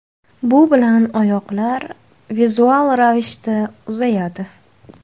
Bu bilan oyoqlar vizual ravishda uzayadi.